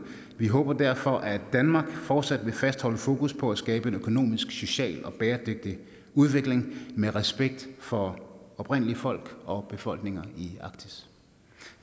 vi håber derfor at danmark fortsat vil fastholde fokus på at skabe en økonomisk social og bæredygtig udvikling med respekt for oprindelige folk og befolkninger i arktis